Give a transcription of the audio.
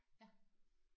Ja